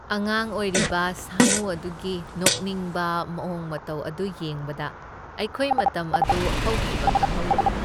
ꯑꯉꯥꯡ ꯑꯣꯏꯔꯤꯕ ꯁꯥꯃꯨ ꯑꯗꯨꯒꯤ ꯅꯣꯛꯅꯤꯡꯕ ꯃꯑꯣꯡ ꯃꯇꯧ ꯑꯗꯨ ꯌꯦꯡꯕꯗ ꯑꯩꯈꯣꯏ ꯃꯇꯝ ꯑꯗꯨ ꯍꯧꯈꯤꯕ ꯈꯪꯍꯧꯗꯦ꯫